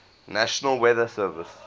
national weather service